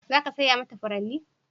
Za ka saya mata furanni?